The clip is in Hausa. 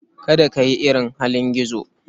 Kada ka yi irin halin gizo.